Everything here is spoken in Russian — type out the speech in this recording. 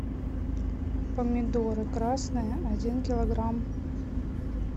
помидоры красные один килограмм